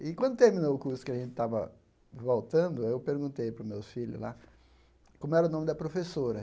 E quando terminou o curso que a gente estava voltando, aí eu perguntei para os meus filhos lá como era o nome da professora.